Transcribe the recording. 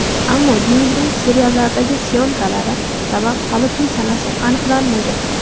Ammo Denizning seriallardagi syomkalari sabab, hali to‘y sanasi aniqlanmagan.